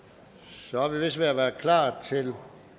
så er vi vist ved at være klar til